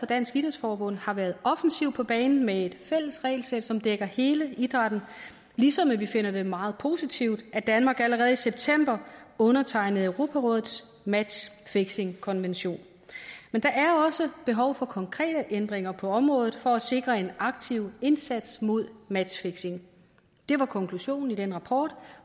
dansk idrætsforbund har været offensivt på banen med et fælles regelsæt som dækker hele idrætten ligesom vi finder det meget positivt at danmark allerede i september undertegnede europarådets matchfixingkonvention men der er også behov for konkrete ændringer på området for at sikre en aktiv indsats mod matchfixing det var konklusionen i den rapport